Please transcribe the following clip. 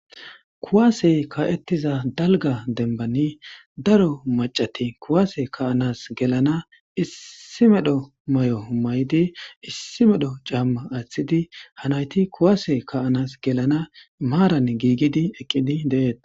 Kuase kaetiza daliga denibani dari macati kuase kaanas gelan issi medho mayo mayidi issi medho cama atidi ha nayiti kuase kaanas gelana maran gigidi eqidi detes.